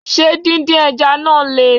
Ṣé din din Ẹja náà Le?